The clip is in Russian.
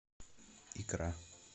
икра